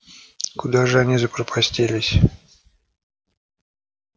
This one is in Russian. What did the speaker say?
куда же они запропастились